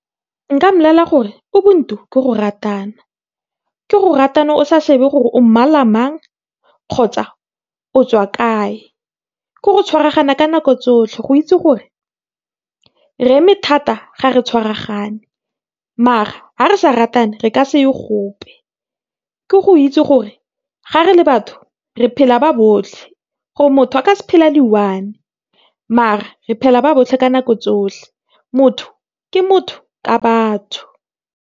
Nka mmolelela gore Ubuntu ke go ratana, ke go ratana o sa shebe gore o mmala mang kgotsa o tswa kae, ke go tshwaragana ka nako tsotlhe. Go itse gore re eme thata ga re tshwaragane mara ga re sa ratane re ka seye gope. Ke go itse gore ga re le batho re phela ba botlhe gore motho a ka se phele a le i-one mare re phela ba botlhe ka nako tsotlhe. Motho ke motho ka batho.